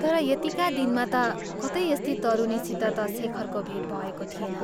तर यतिका दिनमा ता कतै यस्ती तरुणीसित ता शेखरको भेट भएको थिएन।